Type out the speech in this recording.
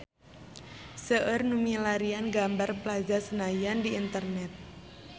Seueur nu milarian gambar Plaza Senayan di internet